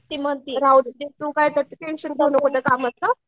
राहूदे तू काय टेन्शन घेऊ नको कामाचं